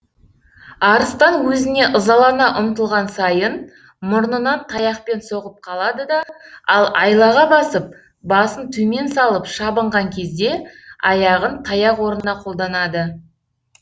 арыстан өзіне ызалана ұмтылған сайын мұрнынан таяқпен соғып қалады да ал айлаға басып басын төмен салып шабынған кезде аяғын таяқ орнына қолданады